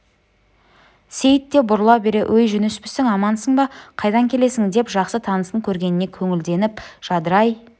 сейіт те бұрыла бере өй жүніспісің амансың ба қайдан келесің деп жақсы танысын көргеніне көңілденіп жадырай